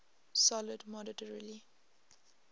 sold moderately